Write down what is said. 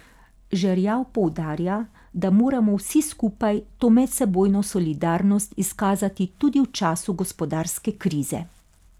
Žerjav poudarja, da moramo vsi skupaj to medsebojno solidarnost izkazati tudi v času gospodarske krize.